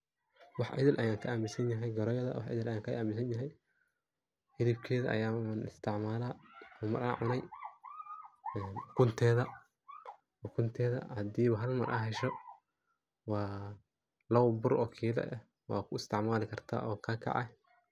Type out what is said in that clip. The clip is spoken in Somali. wax idil ayan ka aaminsan yahay goreyada, wax idil ayan ka aaminsan yahay, hilibkeeda ayan isticmaala ama an cunay, ukunteeda haadiwa hal mar aa hesho waa labo bur oo kila eh wad ku isticmaali karta oo kaakece